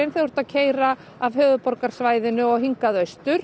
þú ert að keyra af höfuðborgarsvæðinu og austur